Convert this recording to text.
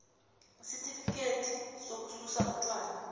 isitifikhethi sokususa utjwala